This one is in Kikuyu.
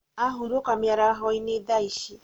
ahurũka mĩarahoinĩ thaa ici